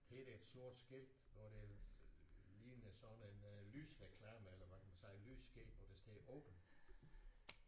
Her er der et sort skilt hvor det ligner sådan en lysreklame eller hvad kan man sige lysskilt hvor der står open